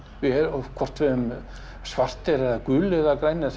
hvort við erum svartir eða gulir eða grænir það